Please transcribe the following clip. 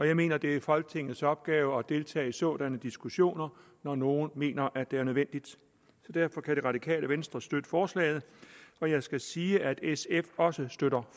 jeg mener det er folketingets opgave at deltage i sådanne diskussioner når nogen mener at det er nødvendigt derfor kan det radikale venstre støtte forslaget og jeg skal sige at sf også støtter